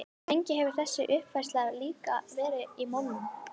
Lengi hefur þessi uppfræðsla líka verið í molum.